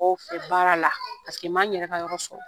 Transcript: Mɔgɔw fɛ baara la n ma n yɛrɛ ka yɔrɔ sɔrɔ